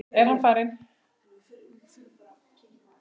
Er hann farinn?